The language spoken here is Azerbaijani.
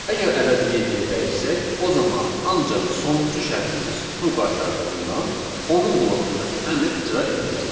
Əgər ədədi yeddiyə dəyişsək, o zaman ancaq sonuncu şərtimiz true qaytardığından, onun bloğundakı əmr icra ediləcək.